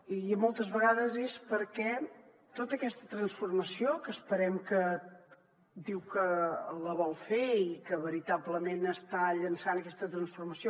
i moltes vegades és perquè tota aquesta transformació que esperem que diu que la vol fer i que veritablement està llançant aquesta transformació